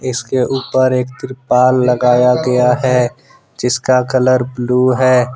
इसके ऊपर एक त्रिपाल लगाया गया है जिसका कलर ब्लू है।